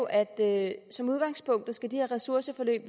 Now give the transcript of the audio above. at som udgangspunkt skal de her ressourceforløb